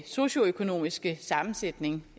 socioøkonomiske sammensætning